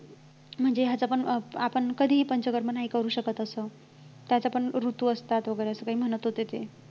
म्हणजे ह्याच्या पण अं आपण कधीही पंचकर्म नाही करू शकत असं त्याच्यात पण ऋतू असतात वैगेरे अस काही म्हणत होते ते